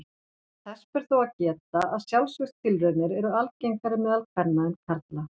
Þess ber þó að geta að sjálfsvígstilraunir eru algengari meðal kvenna en karla.